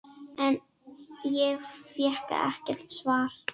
En ég fékk ekkert svar.